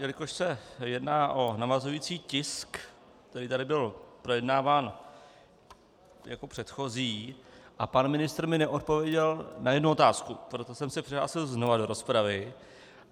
Jelikož se jedná o navazující tisk, který tady byl projednáván jako předchozí, a pan ministr mi neodpověděl na jednu otázku, proto jsem se přihlásil znova do rozpravy.